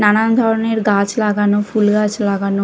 নানান ধরনের গাছ লাগানো ফুল গাছ লাগানো।